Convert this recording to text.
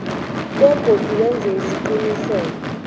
begodu wenze isiqiniseko